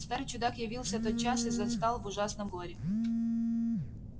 старый чудак явился тотчас и застал в ужасном горе